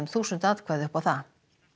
þúsund atkvæði upp á það